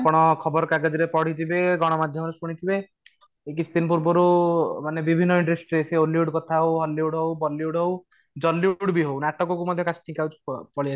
ଆପଣ ଖବରକାଗଜ ରେ ପଢ଼ିଥିବେ ଗଣ ମାଧ୍ୟମ ରେ ଶୁଣିଥିବେ ଏଇ କିଛି ଦିନ ପୂର୍ବରୁ ମାନେ ବିଭିନ୍ନ industry ରେ ସେ hollywood କଥା ହଉ hollywood ହଉ bollywood ହଉ jallywood ବି ହଉ ନାଟକ କୁ ବି ମଧ୍ୟ casting couch ପଳେଇଆସିଲାଣି